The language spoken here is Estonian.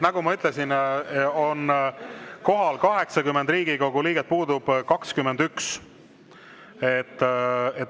Nagu ma ütlesin, on kohal 80 Riigikogu liiget, puudub 21.